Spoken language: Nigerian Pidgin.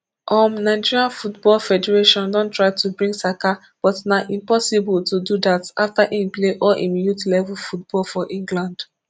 um nigeria football federation don try to bring saka but na impossible to do dat afta im play all im youth level football for england